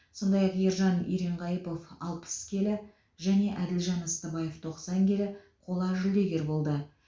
сондай ақ ержан еренқайыпов алпыс келі және әділжан ыстыбаев тоқсан келі қола жүлдегер болды